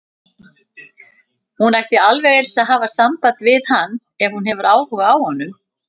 Hún ætti alveg eins að hafa samband við hann ef hún hefur áhuga á honum.